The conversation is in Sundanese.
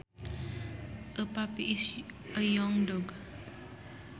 A puppy is a young dog